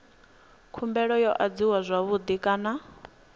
khumbelo yo adziwa zwavhui kana